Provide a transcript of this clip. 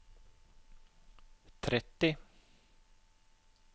tretti